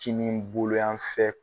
Kinibolo yan fɛ